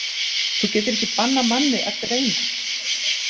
Þú getur ekki bannað manni að dreyma.